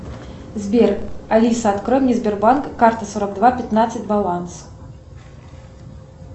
сбер алиса открой мне сбербанк карта сорок два пятнадцать баланс